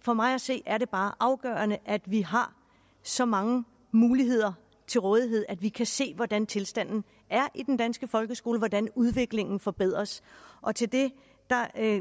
for mig at se er det bare afgørende at vi har så mange muligheder til rådighed at vi kan se hvordan tilstanden er i den danske folkeskole hvordan udviklingen forbedres og til det